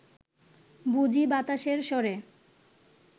বুঝি বাতাসের স্বরে